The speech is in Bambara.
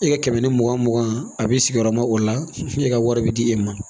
E ka kɛmɛ ni mugan mugan a b'i sigi yɔrɔma o la e ka wari bɛ di e ma